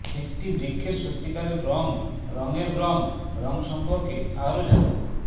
একটি বৃক্ষের সত্যিকারের রং রঙের রং রং সম্পর্কে আরো জানুন